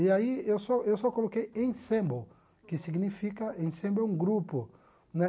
E aí eu só eu só coloquei Ensemble, que significa, Ensemble é um grupo, né?